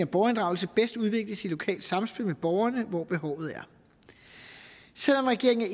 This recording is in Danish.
borgerinddragelse bedst udvikles i lokalt samspil med borgerne hvor behovet er selv om regeringen er